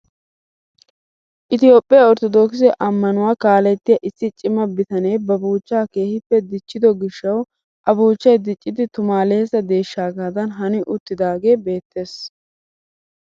Itoophphiyaa orttodookisse ammanuwaa kaalettiyaa issi cima bitanee ba buuchchaa keehippe dichchido gishshawu a buuchchay diccidi tumaalessa deeshshaagadan hani uttiidagee beettees!